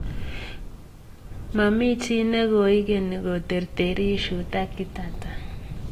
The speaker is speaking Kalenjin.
Mamichii ne koigeni koterteris Shuta Kitata